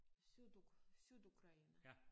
Syd Sydukraine